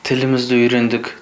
тілімізді үйрендік